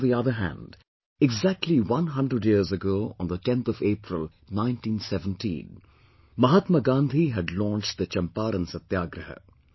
And on the other hand, exactly one hundred years ago on the 10th of April, 1917, Mahatma Gandhi had launched the Champaran Satyagraha